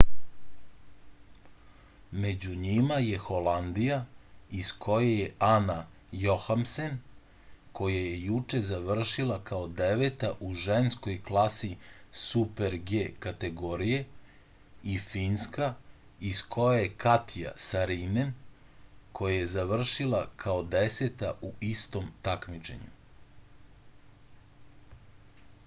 među njima je holandija iz koje je ana johemsen koja je juče završila kao deveta u ženskoj klasi super-g kategorije i finska iz koje je katja sarinen koja je završila kao deseta u istom takmičenju